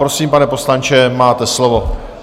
Prosím, pane poslanče, máte slovo.